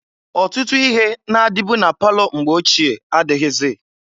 Otutu ihe na-adịbụ na palọ mgbe ochie adịghịzị.